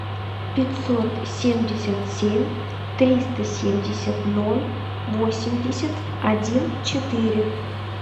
пятьсот семьдесят семь триста семьдесят ноль восемьдесят один четыре